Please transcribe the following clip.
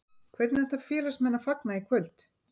Hvernig ætla félagsmenn að fagna í kvöld?